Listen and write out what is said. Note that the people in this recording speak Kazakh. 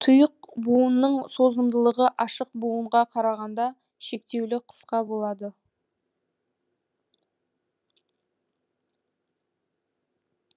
тұйық бұуынның созымдылығы ашық бұуынға қарағанда шектеулі қысқа болады